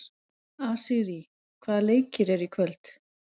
Asírí, hvaða leikir eru í kvöld?